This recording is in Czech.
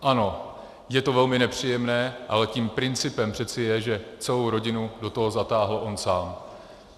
Ano, je to velmi nepříjemné, ale tím principem přece je, že celou rodinu do toho zatáhl on sám.